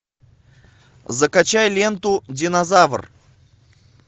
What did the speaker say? закачай ленту динозавр